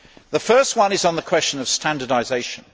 The first one is the question of standardisation.